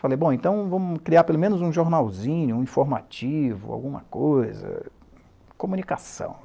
Falei, bom, então vamos criar pelo menos um jornalzinho, um informativo, alguma coisa, comunicação.